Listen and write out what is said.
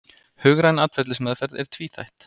Hugræn atferlismeðferð er tvíþætt.